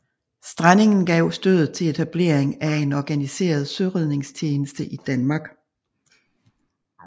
Strandingen gav stødet til etablering af en organiseret søredningstjeneste i Danmark